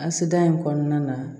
Asidiya in kɔnɔna na